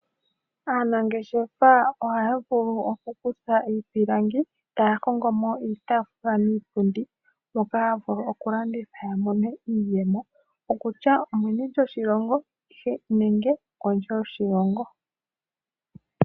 Aanangeshefa ohaya vulu okukutha iipilangi taya kongo mo iitafula niipundi moka ha vulu kulanditha yamone yamone iiyemo okutya omeni lyoshilongo nenge kondje yoshilongo.